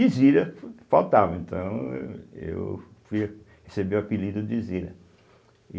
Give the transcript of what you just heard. E Zira faltava, então eh eu fui receber o apelido de Zira.